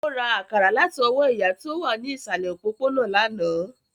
Ó ra àkàrà láti ọwọ́ ìyá tí ó wà ní ìsàlẹ̀ òpópónà lánàá